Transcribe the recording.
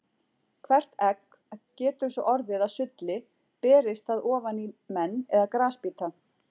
Hvert egg getur svo orðið að sulli berist það ofan í menn eða grasbíta.